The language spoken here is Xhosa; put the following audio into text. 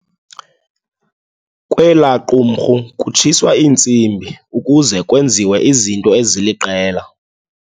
Kwelaa qumrhu kutshiswa intsimbi ukuze kwenziwe izinto eziliqela.